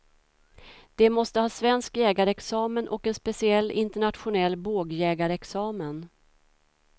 De måste ha svensk jägarexamen och en speciell internationell bågjägarexamen.